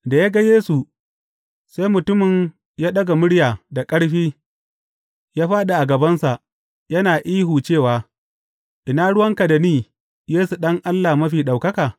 Da ya ga Yesu, sai mutumin ya ɗaga murya da ƙarfi, ya fāɗi a gabansa, yana ihu cewa, Ina ruwanka da ni, Yesu, Ɗan Allah Mafi Ɗaukaka?